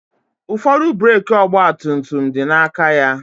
Ụfọdụ breeki ọgba tum tum dị na aka ya